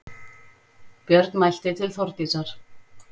Björn mælti til Þórdísar